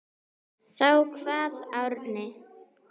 Þá kvað Árni